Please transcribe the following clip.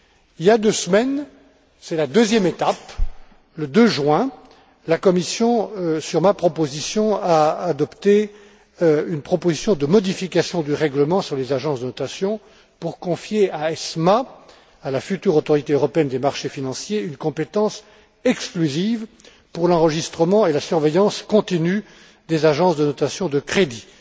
Il y a deux semaines, c'est la deuxième étape, le 2 juin, la Commission, sur ma proposition, a adopté une proposition de modification du règlement sur les agences de notation pour confier à ESMA, la future autorité européenne des marchés financiers, une compétence exclusive pour l'enregistrement et la surveillance continus des agences de notation de crédits.